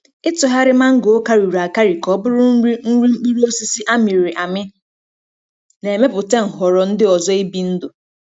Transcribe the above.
Ịtụgharị mango karịrị akarị ka ọ bụrụ nri nri mkpụrụ osisi a mịrị amị na-emepụta nhọrọ ndị ọzọ ibi ndụ.